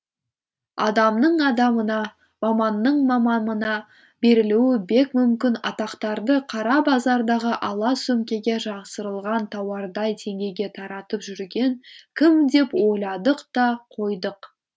адамның адамына маманның маманына берілуі бек мүмкін атақтарды қара базардағы ала сөмкеге жасырылған тауардай теңгеге таратып жүрген кім деп ойладық та қойдық